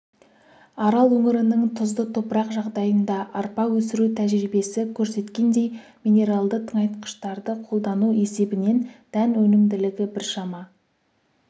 арал өңірінің тұзды топырақ жағдайында арпа өсіру тәжірибесі көрсеткендей минералды тыңайтқыштарды қолдану есебінен дән өнімділігі біршама